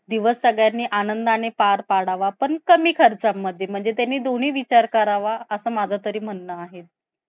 दिवस अगदी आनंदाने पार पाडावा. पण कमी खर्चामध्ये म्हणजे त्यांनी दोन्ही विचार करावा असा माझा तरी म्हणणं आहे.